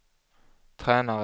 tränare